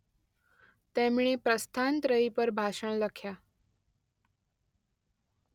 તેમણે પ્રસ્થાન ત્રયી પર ભાષણ લખ્યા.